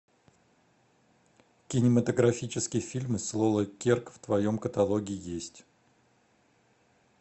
кинематографические фильмы с лолой керк в твоем каталоге есть